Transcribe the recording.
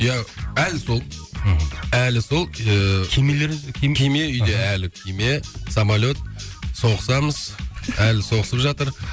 иә әлі сол мхм әлі сол ыыы кемелері кеме үйде әлі кеме самолет соғысамыз әлі соғысып жатыр